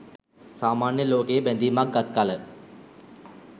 සාමාන්‍ය ලෝකයේ බැඳීමක් ගත් කළ